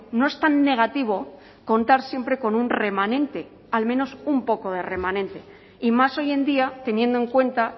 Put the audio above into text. no es tan negativo contar siempre con un remanente al menos un poco de remanente y más hoy en día teniendo en cuenta